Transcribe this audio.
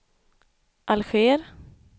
Alger